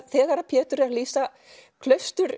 þegar Pétur er að lýsa